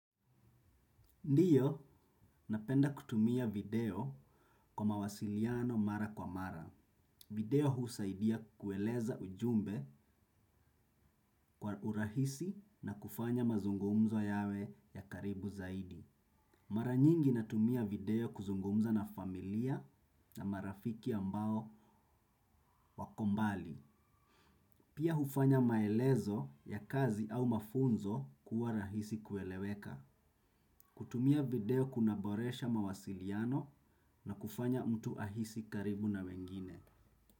Ndio, napenda kutumia video kwa mawasiliano mara kwa mara. Video husaidia kueleza ujumbe kwa urahisi na kufanya mazungumzo yawe ya karibu zaidi. Mara nyingi natumia video kuzungumza na familia na marafiki ambao wako mbali. Pia hufanya maelezo ya kazi au mafunzo kuwa rahisi kueleweka. Kutumia video kunaboresha mawasiliano na kufanya mtu ahisi karibu na wengine.